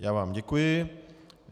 Já vám děkuji.